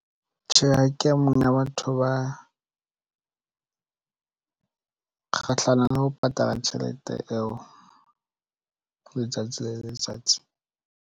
Tjhe, ha ke e mong batho ba kgahlanong le ho patala tjhelete eo letsatsi le letsatsi.